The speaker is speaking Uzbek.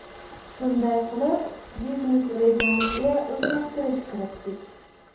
Shunday qilib, biznes-rejamizga o‘zgartirish kiritdik.